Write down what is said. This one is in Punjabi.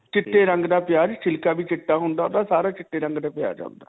ਚਿੱਟੇ ਰੰਗ ਦਾ ਪਿਆਜ, ਛਿਲਕਾ ਵੀ ਚਿੱਟਾ ਹੁੰਦਾ ਓਹਦਾ. ਸਾਰਾ ਹੀ ਚਿੱਟੇ ਰੰਗ ਦਾ ਪਿਆਜ ਹੈ ਹੁੰਦਾ.